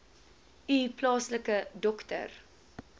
u plaaslike dokter